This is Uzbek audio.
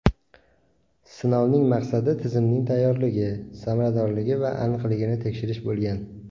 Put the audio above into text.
Sinovning maqsadi tizimning tayyorligi, samaradorligi va aniqligini tekshirish bo‘lgan.